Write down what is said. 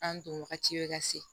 An don wagati bɛ ka se